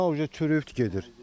Bina çürüyüb gedir.